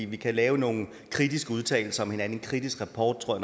vi kan lave nogle kritiske udtalelser om hinanden kritisk rapport tror